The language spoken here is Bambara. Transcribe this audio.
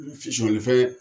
N fisɔlifɛn